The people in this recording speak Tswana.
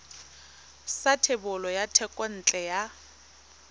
sa thebolo ya thekontle ya